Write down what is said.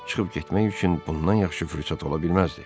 Çıxıb getmək üçün bundan yaxşı fürsət ola bilməzdi.